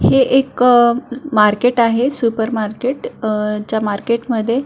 हे एक मार्केट आहे सुपर मार्केट ज्या मार्केट मध्ये--